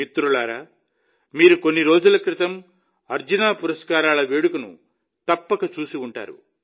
మిత్రులారా మీరు కొన్ని రోజుల క్రితం అర్జున పురస్కారాల వేడుకను తప్పక చూసి ఉంటారు